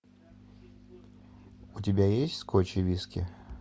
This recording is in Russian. у тебя есть скотч и виски